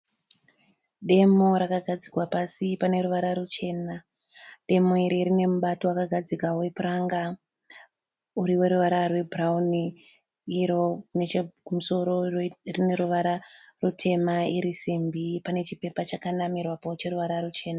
Demo rakagadzikwa pasi pane ruvara ruchena. Demo iri rine mubato wakagadzigwa wepuranga uri weruvara webhurawuni iro nechekusoro rine ruvara rutema iri simbi. Pane chipepa chakanamirwapo cheruvara ruchena.